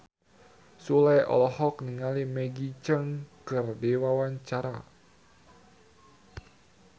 Sule olohok ningali Maggie Cheung keur diwawancara